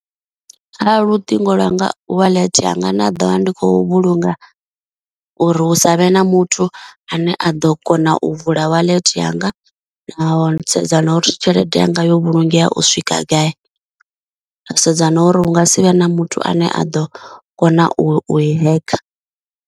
Kha luṱingo lwanga wallet yanga nda ḓo vha ndi khou vhulunga uri hu savhe na muthu ane a ḓo kona u vula wallet yanga, na u sedza na uri tshelede yanga yo vhulungea u swika gai, wa sedza na uri hunga sivhe na muthu ane a ḓo kona u i hekha.